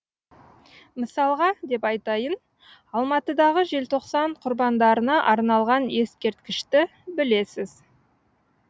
мысалға деп айтайын алматыдағы желтоқсан құрбандарына арналған ескерткішті білесіз